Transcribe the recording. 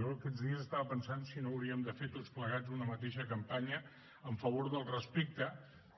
jo aquests dies estava pensant si no hauríem de fer tots plegats una mateixa campanya en favor del respecte